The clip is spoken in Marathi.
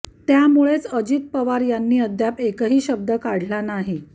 त्यामुळेच अजित पवार यांनी अद्याप एकही शब्द काढला नाही